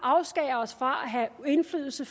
afskære os fra at have indflydelse